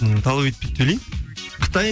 ммм талап етпейді деп ойлаймын қытай